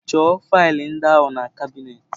Chọọ faịlụ ndị ahụ na kabinetị.